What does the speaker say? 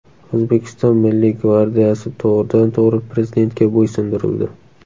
O‘zbekiston Milliy gvardiyasi to‘g‘ridan to‘g‘ri Prezidentga bo‘ysundirildi.